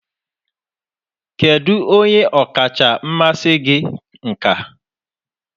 Kedu onye ọkacha mmasị gị nka?